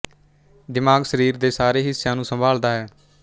ਦਿਮਾਗ ਸਰੀਰ ਦੇ ਸਾਰੇ ਹਿੱਸਿਆਂ ਨੂੰ ਸੰਭਾਲਦਾ ਹੈ